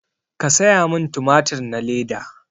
Ka saya min tumatur na leda